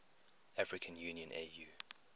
african union au